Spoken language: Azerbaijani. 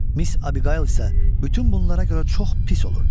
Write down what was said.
Miss Abiqayıl isə bütün bunlara görə çox pis olurdu.